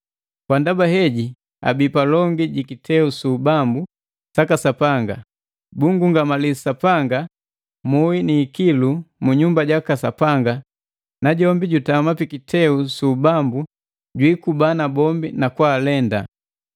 Kwa ndaba heji abii palongi ji kiteu su ubambu saka Sapanga. Bunngungamali Sapanga muhi ni ikilu mu nyumba jaka Sapanga, najombi jojutama pi kiteu su ubambu jwiikuba nabombi na kwa alenda.